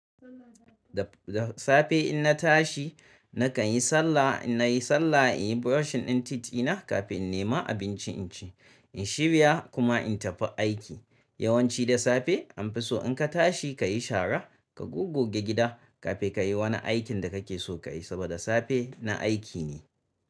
Da safe in na tashi nakan yi sallah, in nayi sallah in yi brushing ɗin teeth ɗina kafin in nema abinci in ci, in shirya kuma in tafi aiki. Yawanci da safe an fi so in ka tashi ka yi shara, ka gogge gida kafin ka yi wani aikin da kake so ka yi saboda safe na aiki ne.